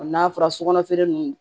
n'a fɔra sokɔnɔ feere ninnu